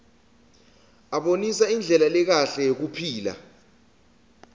abonisa indlela lekahle yekuphila